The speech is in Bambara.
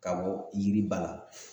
Ka bɔ yiriba la